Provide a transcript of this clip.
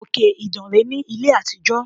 Òkè Ìdànrè ní ilé àtijọ́.